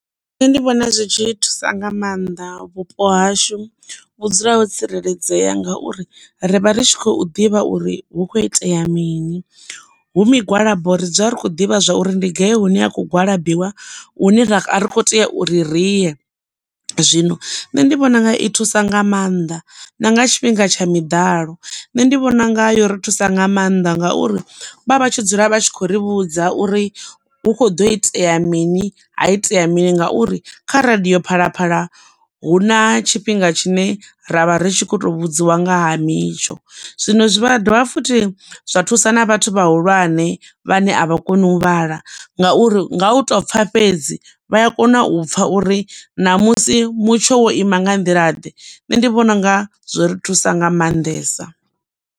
Nṋe ndi vhona zwi tshi thusa nga maanḓa vhupo hashu vhu dzula ho tsireledzea ngauri rivha ri tshi khou ḓivha uri hu kho itea mini. Hu migwalabo ri dzula rikho ḓivha zwa uri ndi gai hune a khou gwalabiwa hune a ri kho tea u ri riye zwino nṋe ndi vhona unga i thusa nga maanḓa na nga tshifhinga tsha miḓalo nṋe, ndi vhona unga yo ri thusa nga maanḓa ngauri vha vha tshi dzula vha tshi khou ri vhudza uri hu kho ḓo itea mini ha itea mini ngauri kha radiyo Phalaphala hu na tshifhinga tshine ra vha ri tshi kho to vhudziwa ngaha mitsho. Zwino zwivha dovha futhi zwa thusa na vhathu vhahulwane vhane a vha koni u vhala ngauri nga u tou pfha fhedzi vha a kona u pfha uri ṋamusi mutsho wo ima nga nḓila ḓe nṋe ndi vhona unga zwo ri thusa nga maanḓesa.